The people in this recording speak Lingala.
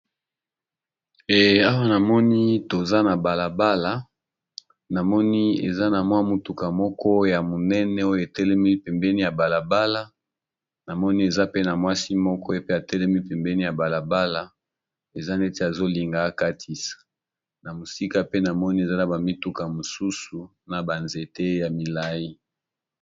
Awa namoni toza na balala ,eza ma mutuka moko ya monene oyo etelemi pembeni ya balala namoni pe na mwasi atelemi na balala wa eza neti alingi akatisa namusika pe eza ba mituka mususu pe na banzete milayi.